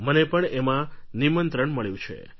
મને પણ એમાં નિમંત્રણ મળ્યું છે